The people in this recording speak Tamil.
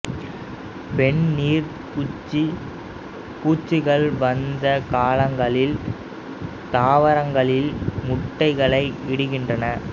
பெண் நீர் குச்சி பூச்சிகள் வசந்த காலங்களில் தாவரங்களில் முட்டைகளை இடுகின்றன